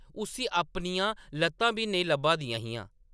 उस्सी अपनियां ल’त्ता बी नेईं लब्भा दियां हियां ।